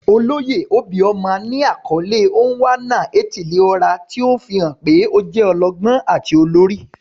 Oloye obioma ni akọle "Onwa-na-etili-ora," ti o fihan pe o jẹ ọlọgbọn ati olori.